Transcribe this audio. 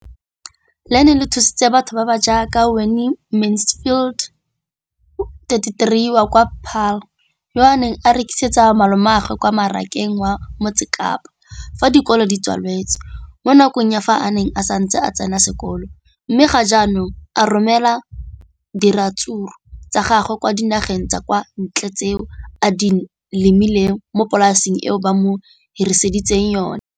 leno le thusitse batho ba ba jaaka Wayne Mansfield, 33, wa kwa Paarl, yo a neng a rekisetsa malomagwe kwa Marakeng wa Motsekapa fa dikolo di tswaletse, mo nakong ya fa a ne a santse a tsena sekolo, mme ga jaanong o romela diratsuru tsa gagwe kwa dinageng tsa kwa ntle tseo a di lemileng mo polaseng eo ba mo hiriseditseng yona.